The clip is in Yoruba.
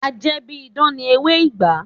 A jẹ́ bí idán ni ewé ìgbá